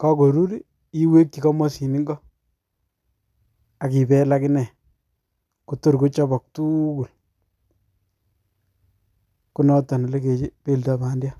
kokorurii iweki komosin ingoo ak ibel ak inee kotor kochopo tuukul, konoton ole kepeldoo pandiat.